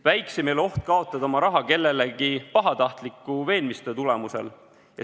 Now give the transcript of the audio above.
Väiksem ei ole oht kaotada oma raha kellegi pahatahtliku veenmistöö tulemusel.